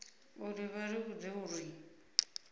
uri vha ri vhudze uri